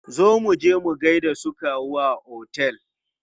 Zo muje mu gaida su kawu a otel!